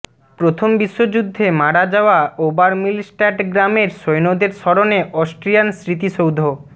প্রথম বিশ্বযুদ্ধে মারা যাওয়া ওবারমিলস্ট্যাট গ্রামের সৈন্যদের স্মরণে অস্ট্রিয়ান স্মৃতিসৌধ